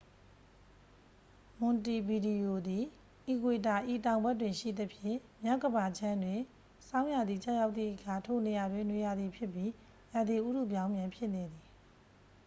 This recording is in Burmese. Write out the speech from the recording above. မွန်တီဗီဒီယိုသည် အီကွေတာ၏ တောင်ဘက်တွင်ရှိသဖြင့် မြောက်ကမ္ဘာခြမ်းတွင် ဆောင်းရာသီကျရောက်သည့်အခါ ထိုနေရာတွင် နွေရာသီဖြစ်ပြီး ရာသီဥတုပြောင်းပြန်ဖြစ်နေသည်